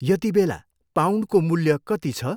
यतिबेला पाउन्डको मूल्य कति छ?